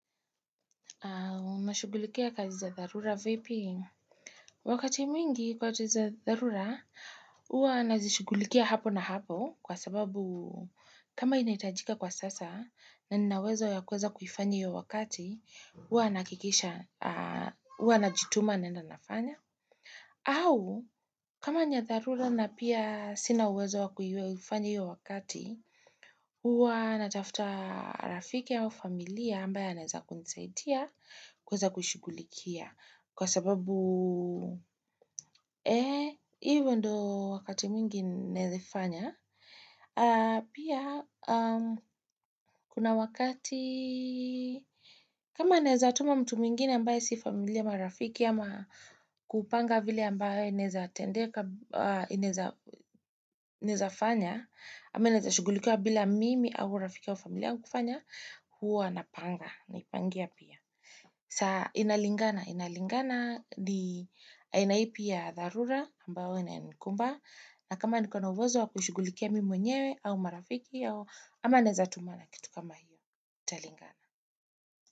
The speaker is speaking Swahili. Unashughulikia kazi za dharura vipi? Wakati mwingi kazi za dharura, huwa nazishughulikia hapo na hapo kwa sababu kama inahitajika kwa sasa na nina uwezo ya kuweza kufanya hiyo wakati, huwa najituma naenda nafanya. Au, kama ni ya dharura na pia sina uwezo wakuifanya hiyo wakati, huwa natafuta rafiki au familia ambaye anaezakunisaidia kuweza kushugulikia. Kwa sababu, ee, hivyo ndo wakati mwingi naezafanya. Pia, kuna wakati, kama naezatuma mtu mwingine ambaye si familia marafiki ama kupanga vile ambaye naezafanya. Ama inaeza shughulikiwa bila mimi au rafiki au familia kufanya, huwa anapanga. Naipangia pia. Saa inalingana, inalingana ni aina ipi ya dharura ambao inanikumba na kama niko na uwezo wa kushughulikia mimi mwenyewe au marafiki au ama naeza tumana kitu kama hiyo, italingana.